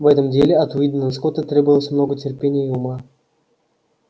в этом деле от уидона скотта требовалось много терпения и ума